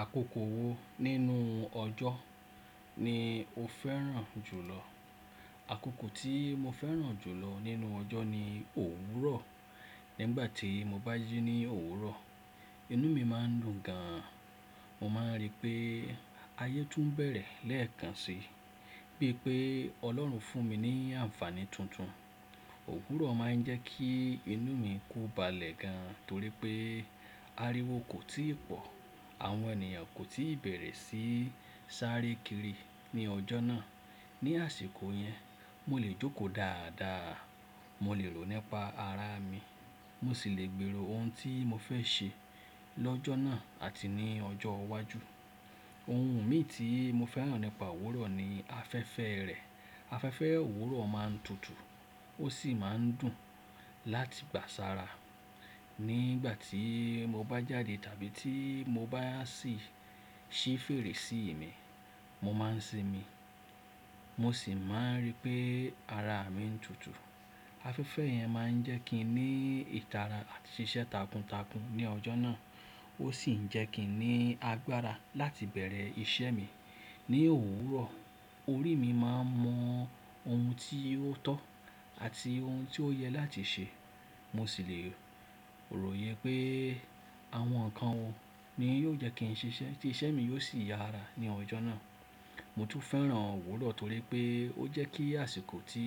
Àkókò wo nínú ọjọ́ ni o fẹ́ràn jùlọ? Àkókò tí mo fẹ́ràn jùlọ nínú ọjọ́ ni òwúrọ̀. Nígbà tí mo bá jí ní òwúrọ̀, inú mi má a ń dùn gan an. Mo máa rí pé ayé tún bẹ̀rẹ̀ lẹ́ẹ̀kan si, bíi pé Ọlọ́run fún mi ní àǹfààní tuntun. Òwúrọ̀ máa ń jẹ́ kí inú mi ko balẹ̀ gan torí pé ariwo kò tíì pọ̀, àwọn ènìyàn kò tíì bẹ̀rẹ̀ sí sáré kiri ní ọjọ́ náà. Ní àsìkò yẹn, mo lè jókòó dáadáa, mo lè rò nípa ara mi, mo sì lè gbèrò ohun tí mo fẹ́ ṣe lọ́jọ́ náà àti ní ọjọ́ iwájú. Ohun mi tí mo fẹ́ràn nípa òwúrọ̀ ni afẹ́fẹ́ rẹ̀. Afẹ́fẹ́ òwúrọ̀ máa ń tutù ó sì máa ń dùn láti gbà sára. Nígbà tí mo bá jáde tàbí tí mo bá sì ṣí fèrèsé mi, mo máa ń sinmi, mo sì máa ń rí pé ara mi ń tutù. Afẹ́fẹ́ yẹn máa ń jẹ́ kí n ní ìtara àti ṣíṣe takuntakun ní ọjọ́ náà. Ó sì ń jẹ́ kí n ní agbára láti bẹ̀rẹ̀ iṣẹ́ mi. Ni òwúrọ̀, orí mi máa ń mọ ohun tí ó tọ́ àti ohun tí ó yẹ láti ṣe. Mo sì lè ròyè pé àwọn nǹkan wo ni yóò jẹ́ kí n ṣe ṣẹ́ tí iṣẹ́ mi yóò sì yára ní ọjọ́ náà. Mo tún fẹ́ràn òwúrọ̀ torí pé ó jẹ́ kí àsìkò tí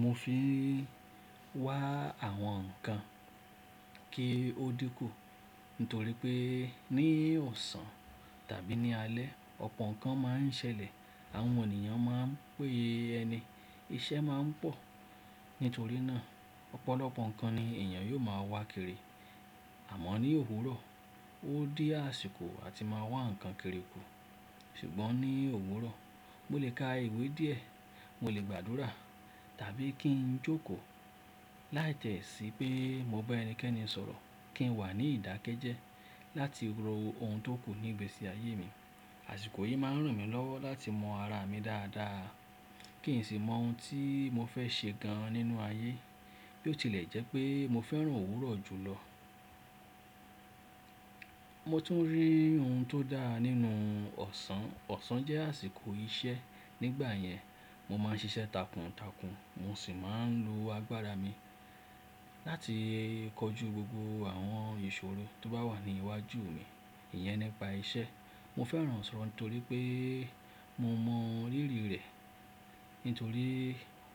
mo fi ń wá àwọn nǹkan kí ó dínkù; nítorí pé ní ọ̀sán tàbí ní alẹ́, ọpọ́ nǹkan máa ń ṣẹlẹ̀, àwọn ènìyàn máa ń pé ẹni, iṣẹ́ máa ń pọ̀. Nítorí náà, ọ̀pọ̀lọpọ̀ nǹkan ni èèyàn yóò máa wá kiri. Àmọ́ ní òwúrọ̀, ó di àsìkò àti máa wá nǹkan kiri ku. Ṣùgbọ́n ní òwúrọ̀, mo lè ka ìwé díẹ̀, mo lè gbàdúrà tàbí kí n jókòó láìtẹ́ sí pé mo bá ẹnikẹ́ni sọ̀rọ̀ kí n wà ní ìdákẹ́jẹ́ láti rò ohun tó kù nígbesí ayé mi. Àsìkò yìí máa ń ràn mí lọ́wọ́ láti mọ ara mi dáadáa kí n sì mọ ohun tí mo fẹ́ ṣe gan nínú ayé. Bí ó tilẹ̀ jẹ́ pé mo fẹ́ràn òwúrọ̀ jùlọ. Mo tún rí ohun tó dára nínú ọ̀sán. Ọ̀sán jẹ́ àsìkọ́ iṣẹ́. Nígbà yẹn, mo máa ń ṣiṣẹ́ takuntakun mo sì máa ń lo agbára mi láti kọjú gbogbo àwọn ìṣòro tó bá wà ní iwájú mi. Iyẹn nípa iṣẹ́. Mo fẹ́ràn ọ̀sán torí pé mo mọ rírí rẹ̀. Nítorí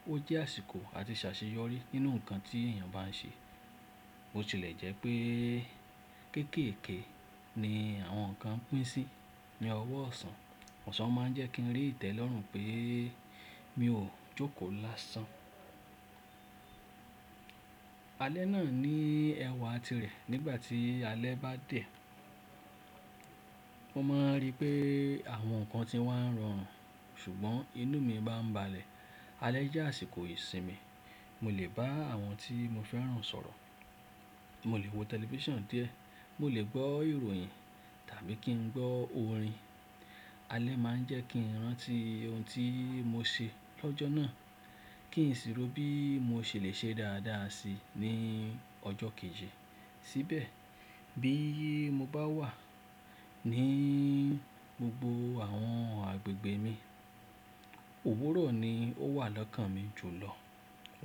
ó jẹ́ àsìkò àti ṣaṣeyọrí nínú nǹkan tí èèyàn bá n ṣe. Ó sì lè jẹ́ pé kéékèèké ni àwọn nǹkan pín sí ní ọwọ́ ọ̀sán. Ọ̀sán máa ń jẹ́ kí n rí ìtẹ́lọ́rùn pé mi ò jókòó lásán. Alẹ́ náà ní ẹwà tirẹ̀. Nígbà tí alẹ́ bá dé, mo máa ń rí pé àwọn nǹkan ti wá ń rọrùn ṣùgbọ́n inú mi bá ń balẹ̀. Alẹ́ jẹ́ àsìkò ìsinmi. Mo lè bá àwọn tí mo fẹ́ràn sọ̀rọ̀, mo lè wo tẹlifíṣàn díẹ̀, mo lè gbọ́ ìròyìn tàbí kí n gbọ́ orin. Alẹ́ máa ń jẹ́ kí n rántí ohun tí mo ṣe lọ́jọ́ náà kí n sì rò bí mo ṣe lè ṣe dáadáa si ní ọjọ́ kejì. Tíbẹ̀ bí mo bá wà ní gbogbo àwọn agbègbè mi, òwúrọ̀ ni ó wà lọ́kàn mi jùlọ.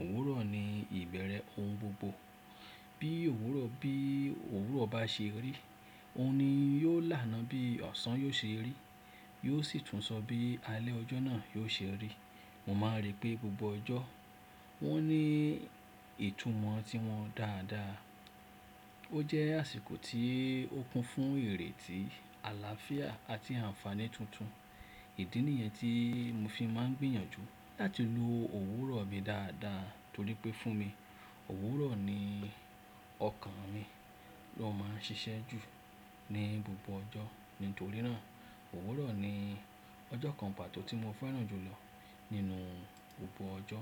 Òwúrọ̀ ni ìbẹ̀rẹ̀ ohun gbogbo. Bí òwúrọ̀ bá ṣe rí, òun ni yóò lánàá bí ọ̀sán yóò ṣe rí, yóò sì tún sọ bí alẹ́ ọjọ́ náà yóò ṣe rí. Mo máa ń rí pé gbogbo ọjọ́ wọ́n ní ìtumọ̀ tí wọn dáadáa. Ó jẹ́ àsìkọ́ tí ó kún fún ìrètí, àlàáfíà àti àǹfààní tuntun. Ìdí nìyẹn tí mo fi máa ń gbìyànjú láti lo òwúrọ̀ mi dáadáa torí pé fún mi, òwúrọ̀ ni ọ̀kan mi ló máa ń ṣiṣẹ́ jù ní gbogbo ọjọ́. Nítorí náà, òwúrọ̀ ni ọjọ́ kan pàtó tí mo fẹ́ràn jùlọ nínú gbogbo ọjọ́.